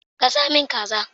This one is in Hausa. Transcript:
Gasa min kaza